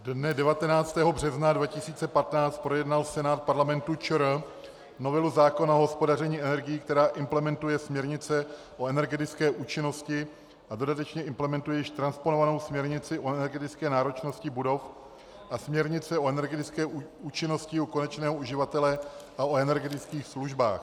Dne 19. března 2015 projednal Senát Parlamentu ČR novelu zákona o hospodaření energií, která implementuje směrnice o energetické účinnosti a dodatečně implementuje již transponovanou směrnici o energetické náročnosti budov a směrnici o energetické účinnosti u konečného uživatele a o energetických službách.